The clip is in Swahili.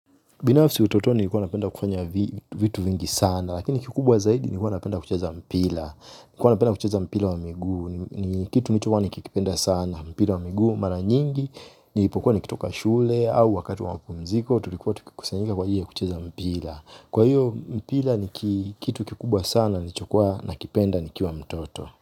Binafsi utotoa nikuwa napenda kufanya vitu vingi sana, lakini kikubwa zaidi nikuwa napenda kucheza mpila. Nikuwa napenda kucheza mpila wa migu, ni kitu nikuwa nikikipenda sana, mpila wa migu, mara nyingi, nipokuwa nikitoka shule, au wakatu wa mpumziko, tulikuwa tukukusanyika kwa hiyo kucheza mpila. Kwa hiyo, mpila nikuwa kitu kikubwa sana, nikuwa nakipenda nikiwa mtoto.